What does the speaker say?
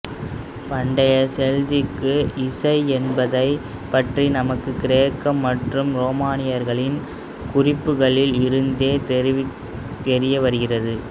பண்டைய செல்திக்கு இசை என்பதை பற்றி நமக்கு கிரேக்க மற்றும் ரோமர்களின் குறிப்புகளில் இருந்தே தெரியவருகிறது